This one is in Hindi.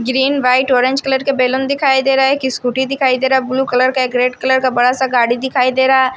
ग्रीन व्हाइट ऑरेंज कलर के बैलून दिखाई दे रहा है एक स्कूटी दिखाई दे रहा ब्लू कलर का एक रेड कलर का बड़ा सा गाड़ी दिखाई दे रहा--